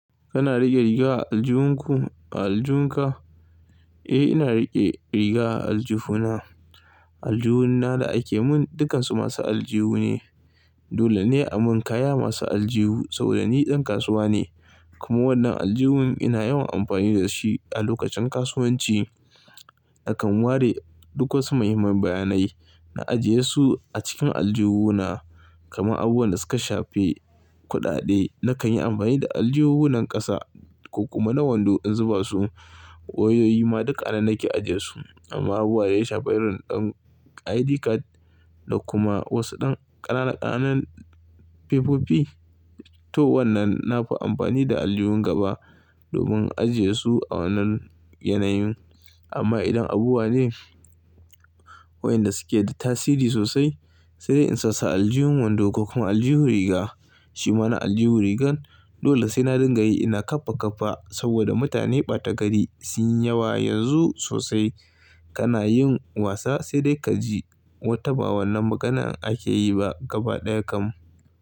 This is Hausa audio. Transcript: Kana riƙe riga a aljihunku a aljinka? Eh, ina riƙe riga a aljifuna. Aljihun na da ake mun dukansu masu aljihu ne. Dole ne a mun kaya masu aljihu saboda ni ɗan kasuwa ne. Kuma wannan aljihun ina yawan amfani da shi a lokacin kasuwanci. Akan ware duk wasu muhimman bayanai na ajiye su a cikin aljihu na. Kamar abubuwan da suka shafe kuɗaɗe nakan yi amfani da aljihunan ƙasa ko kuma na wando in zuba su. Wayoyi ma duk a nan nake ajiyesu. Amma abubuwa dai shafa irin ɗan ID card da kuma wasu ɗan ƙananan fefofi to wannan nafi amfani da aljihun gaba domin ajiye su a wannan yanayin. Amma idan abubuwa ne wayanda suke da tasiri sosai sai dai in sasu a aljihun wando ko kuma aljihu riga. Shi ma na aljihu rigan dole sai na dinga yi ina ƙafa ƙafa saboda mutane ɓata gari sun yi yawa yanzu sosai. Kana yin wasa sai dai ka ji wata ba wannan maganan ake yi ba gaba ɗaya kam.